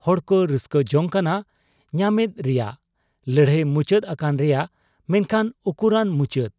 ᱦᱚᱲᱠᱚ ᱨᱟᱹᱥᱠᱟᱹ ᱡᱚᱝ ᱠᱟᱱᱟ ᱧᱟᱢᱮᱫ ᱨᱮᱭᱟᱝ, ᱞᱟᱹᱲᱦᱟᱹᱭ ᱢᱩᱪᱟᱹᱫ ᱟᱠᱟᱱ ᱨᱮᱭᱟᱝ ᱾ ᱢᱮᱱᱠᱷᱟᱱ ᱩᱠᱩᱨᱟᱱ ᱢᱩᱪᱟᱹᱫ ?